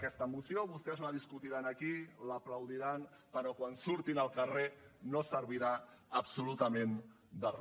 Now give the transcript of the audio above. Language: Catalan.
aquesta moció vostès la discutiran aquí l’aplaudiran però quan surtin al carrer no servirà absolutament de re